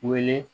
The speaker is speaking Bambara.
Wele